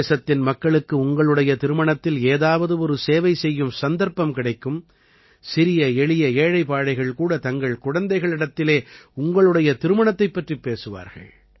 தேசத்தின் மக்களுக்கு உங்களுடைய திருமணத்தில் ஏதாவது ஒரு சேவை செய்யும் சந்தர்ப்பம் கிடைக்கும் சிறியஎளிய ஏழைபாழைகள் கூட தங்கள் குழந்தைகளிடத்திலே உங்களுடைய திருமணத்தைப் பற்றிப் பேசுவார்கள்